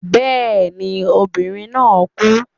Yes, the lady died.